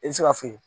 I bɛ se ka foyi